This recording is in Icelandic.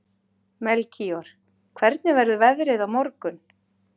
Melkíor, hvernig verður veðrið á morgun?